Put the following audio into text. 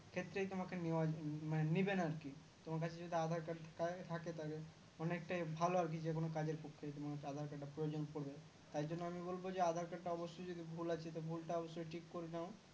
ক্ষেত্রেই তোমাকে নেওয়া মানে নেবে না আর কি তোমার কাছে যদি aadhar card থাকে অনেকটাই ভালো আর কি যেকোনো কাজের পক্ষে তোমার Aadhar Card টা প্রয়োজন পড়বে তাই জন্য আমি বলবো aadhar card টা অবশ্যই যদি ভুল আছে তো ভুলটা অবশ্যই ঠিক করে নাও